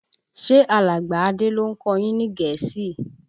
Ṣe alàgbà Adé ló ń kọ yín ní Gẹ̀ẹ́sì?